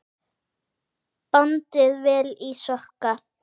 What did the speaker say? Bandið vel í sokka.